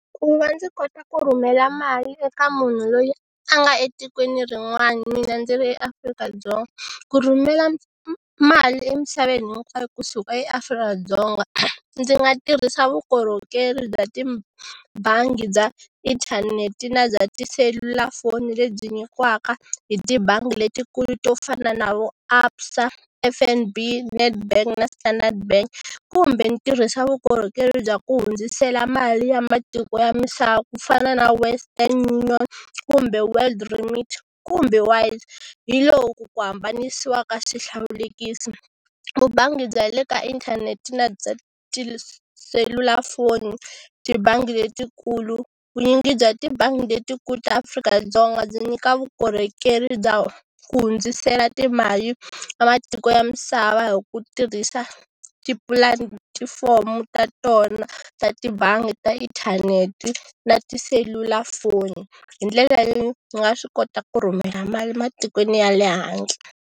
Ku va ndzi kota ku rhumela mali eka munhu loyi a nga etikweni rin'wana mina ndzi ri eAfrika-Dzonga ku rhumela mali emisaveni hinkwayo kusuka eAfrika-Dzonga ndzi nga tirhisa vukorhokeri bya tibangi bya inthanete na bya tiselulafoni lebyi nyikiwaka hi tibangi letikulu to fana na vo ABSA, F_N_B, Nedbank na Standard bank kumbe ni tirhisa vukorhokeri bya ku hundzisela mali ya matiko ya misava ku fana na Western North kumbe World Limit kumbe hi loku ku hambanisiwa ka swihlawulekisi. Vubangi bya le ka inthanete na bya tiselulafoni, tibangi letikulu, vunyingi bya tibangi letikulu ta Afrika-Dzonga byi nyika vukorhokeri bya ku hundzisela timali ka matiko ya misava hi ku tirhisa tipulatifomo ta tona ta tibangi ta inthanete na tiselulafoni. Hi ndlela yo ni nga swi kota ku rhumela mali matikweni ya le handle.